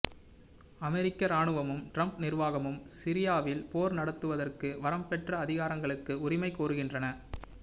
அமெரிக்க இராணுவமும் ட்ரம்ப் நிர்வாகமும் சிரியாவில் போர் நடத்துவதற்கு வரம்பற்ற அதிகாரங்களுக்கு உரிமை கோருகின்றன